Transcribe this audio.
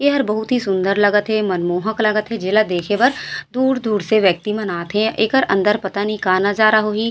"यार बहुत ही सुन्दर लगत हे मनमोहक लगत हे जे ला देखे बर दूर दूर से व्यक्ति मन आथे एकर अंदर पता नहीं का नज़ारा होही--